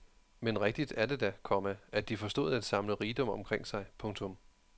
Men rigtigt er det da, komma at de forstod at samle rigdom omkring sig. punktum